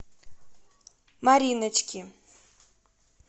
мариночки